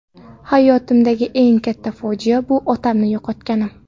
Hayotimdagi eng katta fojia bu – otamni yo‘qotganim.